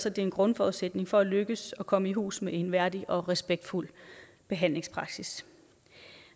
at det er en grundforudsætning for at lykkes at komme i hus med en værdig og respektfuld behandlingspraksis